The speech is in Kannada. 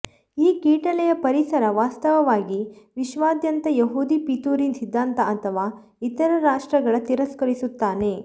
ಈ ಕೀಟಲೆಯ ಪರಿಸರ ವಾಸ್ತವವಾಗಿ ವಿಶ್ವಾದ್ಯಂತ ಯಹೂದಿ ಪಿತೂರಿ ಸಿದ್ಧಾಂತ ಅಥವಾ ಇತರ ರಾಷ್ಟ್ರಗಳ ತಿರಸ್ಕರಿಸುತ್ತಾನೆ